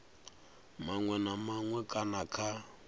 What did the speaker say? maṅwe na maṅwe kana kha